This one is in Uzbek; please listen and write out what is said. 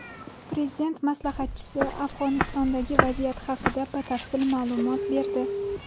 Prezident maslahatchisi Afg‘onistondagi vaziyat haqida batafsil ma’lumot berdi.